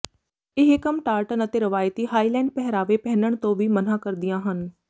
ਇਹ ਕੰਮ ਟਾਰਟਨ ਅਤੇ ਰਵਾਇਤੀ ਹਾਈਲੈਂਡ ਪਹਿਰਾਵੇ ਪਹਿਨਣ ਤੋਂ ਵੀ ਮਨ੍ਹਾ ਕਰਦੀਆਂ ਹਨ